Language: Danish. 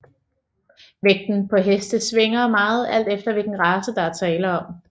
Vægten på heste svinger meget alt efter hvilken race der er tale om